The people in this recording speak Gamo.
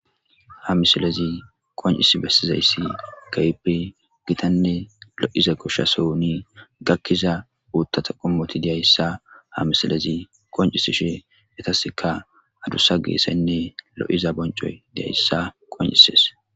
ha misilezi koncis bessizayssi gayppe gitanne lo'iza koshshasohuni gakkiza uuttata qommoti diyayssa ha misilezi koncisi she yetaseka adussa geesaynne lo'iza boncoy diyayssa qon'ises